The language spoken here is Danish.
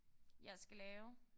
Jeg skal lave?